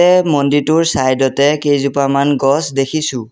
মন্দিৰটোৰ চাইড অতে কেইজোপামান গছ দেখিছোঁ।